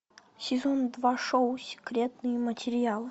сезон два шоу секретные материалы